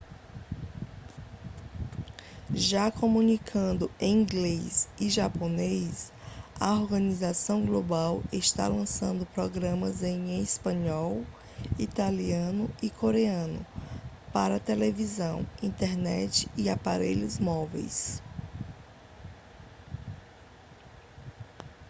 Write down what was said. já comunicando em inglês e japonês a organização global está lançando programas em espanhol italiano e coreano para televisão internet e aparelhos móveis